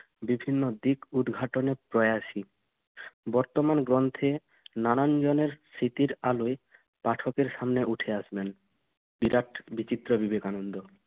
বিভিন্ন দিক উদ্ঘাটনে প্রয়াসী। বর্তমান গ্রন্থে নানান জনের স্মৃতির আলোয় পাঠকের সামনে ওঠে আসবেন বিরাট বিচিত্র বিবেকানন্দ।